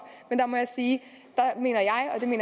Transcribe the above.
men der må jeg sige